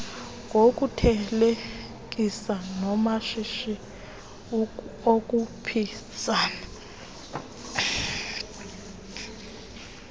ngokuthelekisa namashishi okhuphisana